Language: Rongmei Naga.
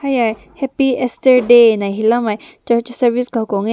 yehai happy easter day ne helao mai church service kum bam meh.